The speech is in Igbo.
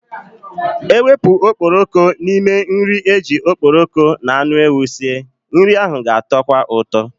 Ewepu okporoko n'ime nri eji okporoko n'anu ewu sie, nri ahụ ga-atọkwa ụtọ.